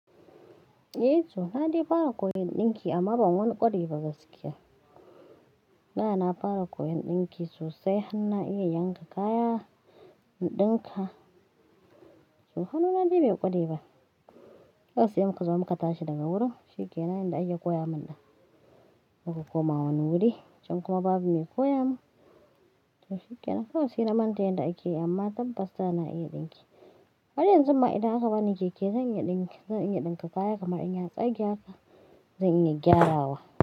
Eh to, na dai fara koyan ɗinki amma ban wani ƙware ba gaskiya. Da na fara koyan ɗinki sosai har na iya yanka kaya in ɗinka, to hannuna na dai bai ƙwareba. Kawai sai muka zo muka tashi daga wurin shikenan inda ake koya min ɗin, muka koma wani wuri can kuma babu me koya mun, to shikenan. Kawai se na manta yanda ake yi amma tabbas da na iya ɗinki. Haryanzun ma idan aka bani keke zan iya ɗinki, zan iya ɗinka kaya kamar in ya tsage haka, zan iya gyarawa.